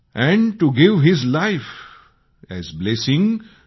and to give his life as blessing